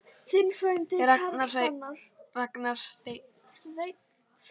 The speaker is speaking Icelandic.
Ragnar Steinn.